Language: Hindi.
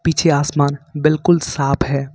पीछे आसमान बिल्कुल साफ है।